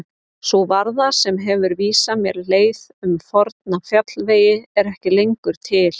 Sú varða sem hefur vísað mér leið um forna fjallvegi er ekki lengur til.